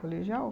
Colegial?